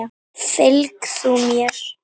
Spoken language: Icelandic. Fylg þú mér.